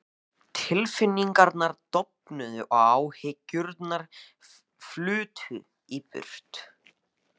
Tilfinningarnar dofnuðu og áhyggjurnar flutu burt.